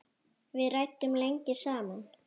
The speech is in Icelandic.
Við ræddum lengi saman.